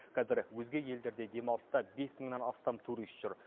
қазір өзге елдерде демалыста бес мыңнан астам турист жүр